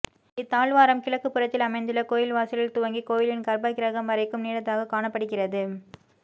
இத்தாழ்வாரம் கிழக்குப்புறத்தில் அமைந்துள்ள கோயில் வாசலில் துவங்கி கோயிலின் கர்பக்கிரகம் வரைக்கும் நீண்டதாக காணப்படுகிறது